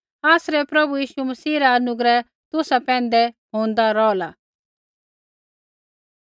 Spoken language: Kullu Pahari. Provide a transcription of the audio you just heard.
आसरै प्रभु यीशु मसीह रा अनुग्रह तुसा पैंधै होंदा रौहला